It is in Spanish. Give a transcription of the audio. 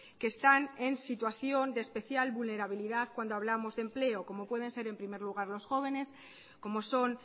que están en situación de especial vulnerabilidad cuando hablamos de empleo como pueden ser en primer lugar los jóvenes como son